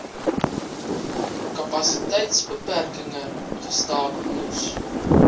kapasiteitsbeperkinge gestaak moes